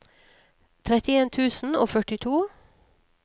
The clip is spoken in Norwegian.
trettien tusen og førtito